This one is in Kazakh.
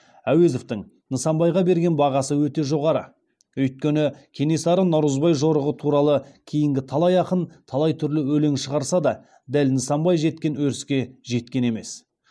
әуезовтің нысанбайға берген бағасы өте жоғары өйткені кенесары наурызбай жорығы туралы кейінгі талай ақын талай түрлі өлең шығарса да дәл нысанбай жеткен өріске жеткен емес